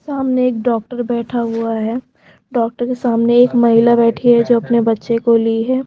सामने एक डॉक्टर बैठा हुआ है डॉक्टर के सामने एक महिला बैठी है जो अपने बच्चे को ले गई है।